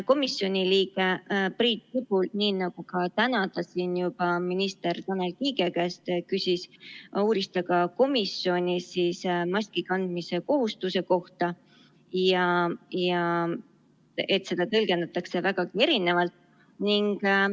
Komisjoni liige Priit Sibul küsis, nii nagu ka täna siin juba minister Tanel Kiige käest, ja uuris komisjonis maskikandmise kohustuse kohta ja et seda tõlgendatakse vägagi erinevalt.